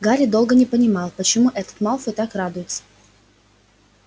гарри долго не понимал почему этот малфой так радуется